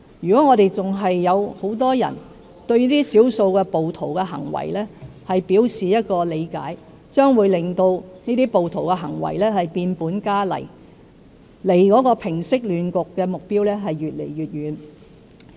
如果社會上仍然有很多人對這些少數暴徒的行為表示理解，將會令這些暴徒的行為變本加厲，令平息亂局的目標離我們越來越遠。